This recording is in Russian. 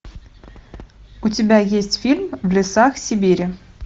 у тебя есть фильм в лесах сибири